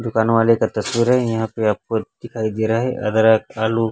दुकान वाले का तस्वीर हैं यहाँ पे आपको दिखाई दे रहा हैं अदरक आलू--